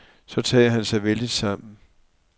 Så tager han sig vældigt sammen.